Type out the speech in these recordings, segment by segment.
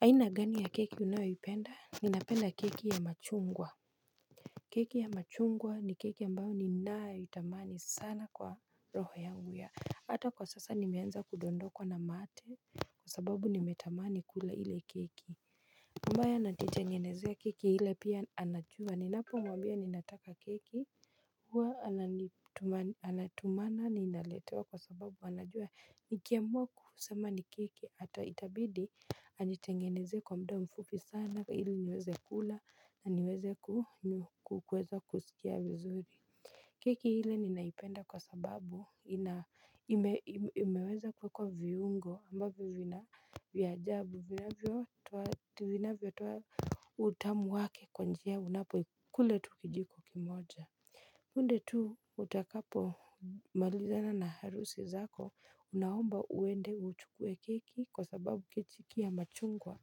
Aina gani ya keki unayoipenda ninapenda keki ya machungwa. Keki ya machungwa ni keki ambayo ninayoitamani sana kwa roho yangu ya hata kwa sasa nimeanza kudondokwa na mate kwa sababu nimetamani kula ile keki ubaya najitangenezea keki ile pia anajua ninapomwambia ninataka keki. Huwa anatumana na inaletewa kwa sababu anajua nikiamua kusema ni keki ata itabidi anitengenezee kwa mda mfupi sana ili niweze kula na niweze kukweza kusikia vizuri. Keki ile ninaipenda kwa sababu imeweza kwa kwa viungo ambavyo vina vya ajabu vinavyotoa utamu wake kwa njia unapokule tu kijiko kimoja punde tu utakapo malizana na harusi zako unaomba uende uchukue keki kwa sababu keki ya machungwa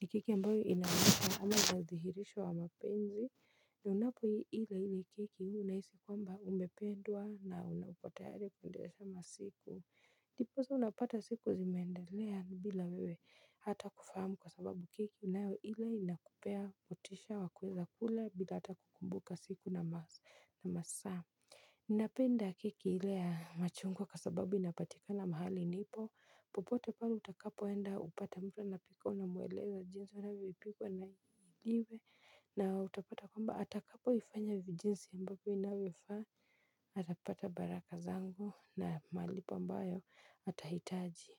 ni keki ambayo inahomba ama nadhihirisho wa mapenzi. Na unapo ila ile keki unahisi kwamba umependwa na unapotayari kundesha masiku. Ndiposa unapata siku zimeendelea bila wewe hata kufahamu kwa sababu keki unayoila inakupea motisha wa kuweza kula bila hata kukumbuka siku na masaa. Napenda keki ile ya machungwa kwa sababu inapatikana mahali nipo. Popote pale utakapoenda upate mtu anapika unamweleza jinsi unataka ipikwe na iwe. Na utapata kwamba atakapoifanya jinsi ambavyo inavyofaa atapata baraka zangu na malipo ambayo atahitaji.